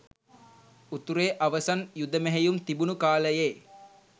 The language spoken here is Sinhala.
උතුරේ අවසන් යුද මෙහෙයුම් තිබුණු කාලයේ